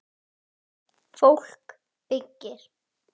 Fólk byggir.